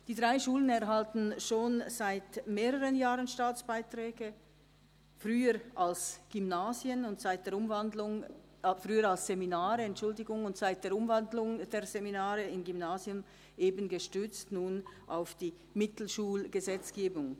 Die drei Schulen erhalten schon seit mehreren Jahren Staatsbeiträge, früher als Seminare und, seit der Umwandlung der Seminare in Gymnasien, gestützt auf die Mittelschulgesetzgebung.